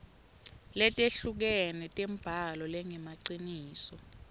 letehlukene tembhalo lengemaciniso